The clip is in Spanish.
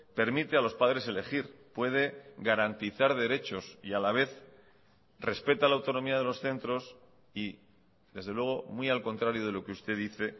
permite a los padres elegir puede garantizar derechos y a la vez respeta la autonomía de los centros y desde luego muy al contrario de lo que usted dice